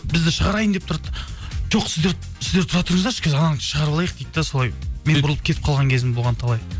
бізді шығарайын деп тұрады да жоқ сіздер тұра тұрыңыздаршы қазір ананы шығарып алайық дейді де солай бұрылып кетіп қалған кезім болған талай